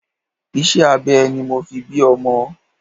Iṣẹ́ abẹ ni mo fi bí ọmọ.